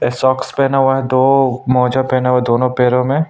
socks पहना हुआ है दो मोजा पहना हुआ है दोनों पैरों में--